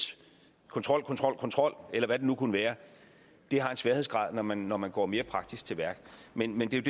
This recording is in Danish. kontrol kontrol kontrol eller hvad det nu kunne være har en sværhedsgrad når man når man går mere praktisk til værks men men det er